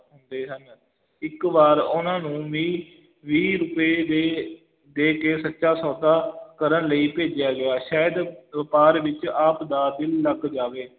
ਚਾਹੁੰਦੇ ਸਨ, ਇੱਕ ਵਾਰ ਉਹਨਾਂ ਨੂੰ ਵੀਹ ਵੀਹ ਰੁਪਏ ਦੇ ਦੇ ਕੇ ਸੱਚਾ ਸੌਦਾ ਕਰਨ ਲਈ ਭੇਜਿਆ ਗਿਆ ਸ਼ਾਇਦ ਵਪਾਰ ਵਿੱਚ ਆਪ ਦਾ ਦਿਲ ਲੱਗ ਜਾਵੇ।